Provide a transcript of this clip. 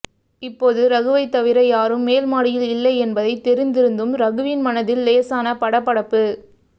இப்ேபாது ரகுைவ தவிர யாரும் ேமல் மாடியில் இல்ைல என்பதை ெதரிந்திருந்தும் ரகுவின் மனதில் ேலசான படபடப்பு